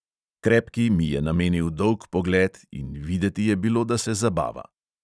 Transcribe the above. Krepki mi je namenil dolg pogled in videti je bilo, da se zabava.